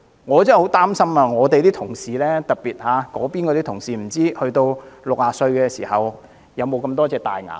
我真的很擔心我們的同事，特別是那邊的同事，不知道他們到60歲時可否保存這麼多顆牙齒。